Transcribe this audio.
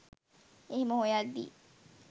එහෙම හොයද්දී